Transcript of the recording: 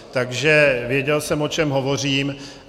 Takže věděl jsem, o čem hovořím.